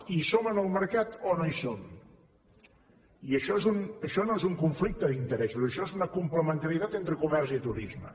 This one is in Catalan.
hi som en el mercat o no hi som i això no és un conflicte d’interessos això és una complementarietat entre comerç i turisme